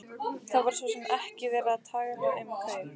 Það var svo sem ekki verið að tala um kaup.